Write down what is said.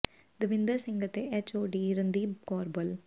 ਦਵਿੰਦਰ ਸਿੰਘ ਅਤੇ H O D Randeep Kaur ਬੱਲ